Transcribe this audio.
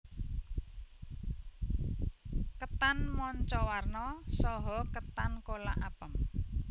Ketan manca warna saha ketan kolak apem